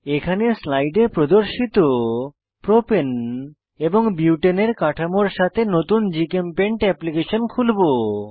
এখানে স্লাইডে প্রদর্শিত প্রোপেন এবং বিউটেনের কাঠামোর সাথে নতুন জিচেমপেইন্ট অ্যাপ্লিকেশন খুলবো